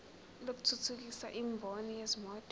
lokuthuthukisa imboni yezimoto